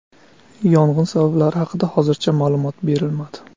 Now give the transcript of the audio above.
Yong‘in sabablari haqida hozircha ma’lumot berilmadi.